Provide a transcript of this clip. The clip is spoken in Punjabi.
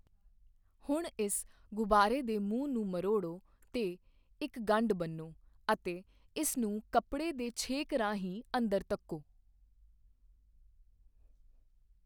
ਹੁਣ ਇਸ ਗ਼ੁਬਾਰੇ ਦੇ ਮੂੰਹ ਨੂੰ ਮਰੋੜੋ ਤੇ ਇੱਕ ਗੰਢ ਬੰਨੋ ਅਤੇ ਇਸ ਨੂੰ ਕੱਪੜੇ ਦੇ ਛੇਕ ਰਾਹੀਂ ਅੰਦਰ ਧੱਕੋ।